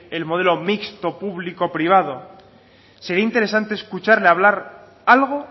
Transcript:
el modelo mixto público privado sería interesante escucharle hablar algo